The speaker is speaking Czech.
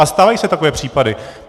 A stávají se takové případy.